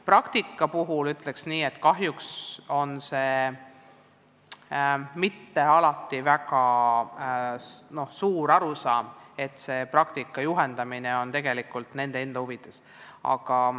Praktika kohta ütleks nii, et kahjuks ei ole mitte alati arusaama, et praktika juhendamine on tegelikult tööandjate enda huvides.